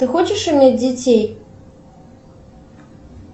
ты хочешь иметь детей